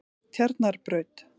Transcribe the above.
Tjarnarbraut